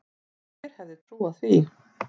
Hver hefði trúað því?